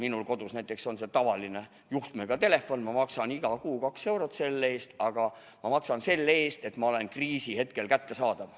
Minul kodus näiteks on tavaline juhtmega telefon, ma maksan iga kuu kaks eurot selle eest, aga ma maksan selle eest, et ma oleksin kriisihetkel kättesaadav.